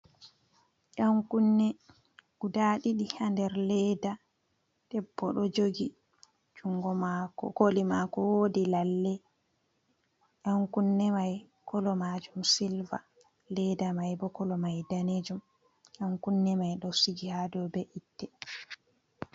Ɗan kunne guda ɗiɗi ha der leda debbo ɗo jogi jungoma koli mako wodi lalle, ɗan kunne mai kolo majum silva, leda mai bo kolo mai danejum, ɗan kunne mai ɗo sigi hado be itte.